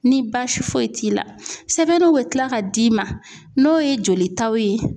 Ni baasi foyi t'i la sɛbɛnniw bɛ kila ka d'i ma n'o ye jolitaw ye.